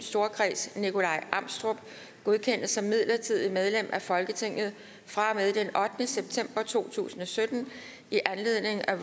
storkreds nikolaj amstrup godkendes som midlertidigt medlem af folketinget fra og med den ottende september to tusind og sytten i anledning af